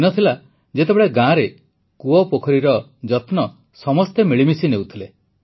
ଦିନ ଥିଲା ଯେତେବେଳେ ଗାଁରେ କୂଅ ପୋଖରୀର ସମସ୍ତେ ମିଳିମିଶି ଯତ୍ନ ନେଉଥିଲେ